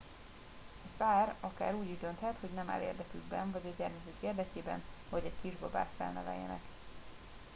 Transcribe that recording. egy pár akár úgy is dönthet hogy nem áll érdekükben vagy a gyermekük érdekében hogy egy kisbabát felneveljenek